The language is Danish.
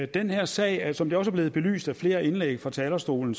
den her sag er som det også er blevet belyst i flere indlæg fra talerstolen